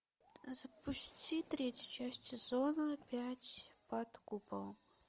запусти третью часть сезона пять под куполом